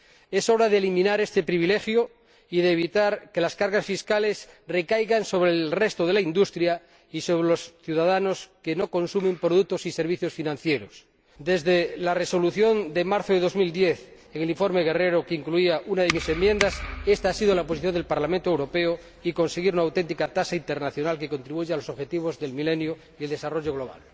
Es hora de eliminar este privilegio y de evitar que las cargas fiscales recaigan sobre el resto de la industria y sobre los ciudadanos que no consumen productos y servicios financieros. Desde la Resolución de marzo de 2010, en el informe Guerrero, que incluía una de mis enmiendas, ésta ha sido la posición del Parlamento Europeo, y conseguir una auténtica tasa internacional que contribuya al logro de los Objetivos del Milenio y al desarrollo global.